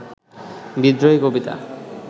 বিদ্রোহী কবিতা